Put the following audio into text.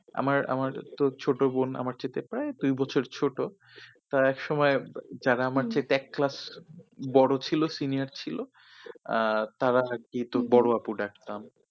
আমার আমার তো ছোট বোন আমার চাইতে প্রায় তিন বছরের ছোট তা একসময়ে যারা আমার চাইতে এক ক্লাস বড়ো ছিল senior ছিল আহ তারা যেহেতু বড়ো আপু ডাকতাম।